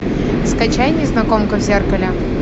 скачай незнакомка в зеркале